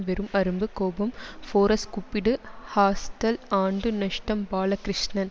வெறும் அரும்பு கோபம் ஃபோரஸ் கூப்பிடு ஹாஸ்டல் ஆண்டு நஷ்டம் பாலகிருஷ்ணன்